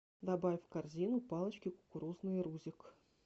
добавь в корзину палочки кукурузные рузик